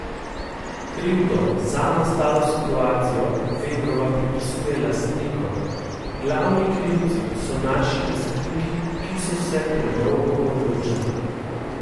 Krivdo za nastalo situacijo Vebrova pripisuje lastnikom: "Glavni krivci so naši lastniki, ki so se predolgo odločali.